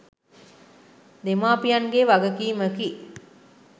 දෙමාපියන්ගේ වගකීමකි.